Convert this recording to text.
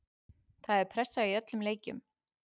Það er pressa í öllum leikjum.